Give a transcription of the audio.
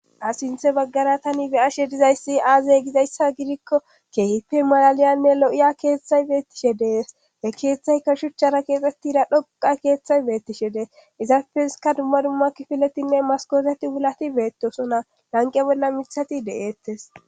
Ha sinthe baggara tani beyashe dizayssi aaze gizayssa gidikko keehippe malaliyanne lo7iya keeththay beettishe dees he keeththayka shuchchara keexxettira dhoqa keeththay beettishe deess izafeska dumma dumma kifiletinne maskoseti wulati beettosona lanqe bolla mithati de7eettes